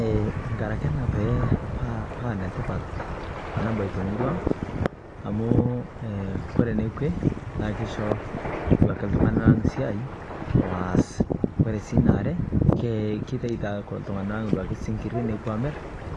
Eeh nkaraki ena pee pa enetipat enabai te murua ang amu aa ore enekue na keisho ake iltungana esiai waas ore si ina aare kitaetie iltungana naduake sinkiri nepuo aamir